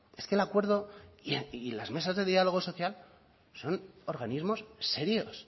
es que el acuerdo y las mesas de diálogo social son organismos serios